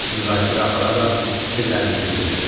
Müzakirə apararaq fikirlərinizi bildirin.